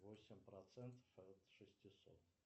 восемь процентов от шестисот